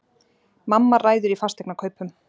Mamma ræður í fasteignakaupum